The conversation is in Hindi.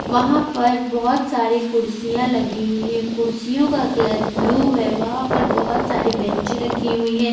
वहां पर बहोत सारी कुर्सियां लगी हुई हैं कुर्सियो का कलर ब्लू है वहां पर बहुत सारी बैंच रखी हुई है।